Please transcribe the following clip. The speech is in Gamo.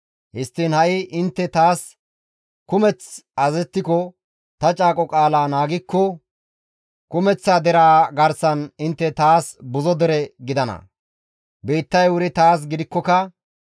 Histtiin ha7i intte taas kumeth azazettiko, intte ta caaqo qaalaa naagikko, kumeththa deraa garsan intte taas buzo dere gidana. Biittay wuri taas gidikkoka,